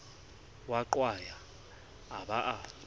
mo qwaya a ba a